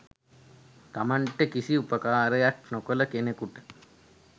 තමන්ට කිසි උපකාරයක් නොකළ කෙනකුට